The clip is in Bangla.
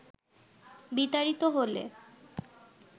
বিতাড়িত হলে